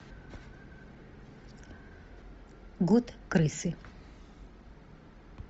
год крысы